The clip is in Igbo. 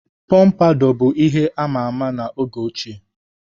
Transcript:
Pompadour bụ ihe ama ama na oge ochie.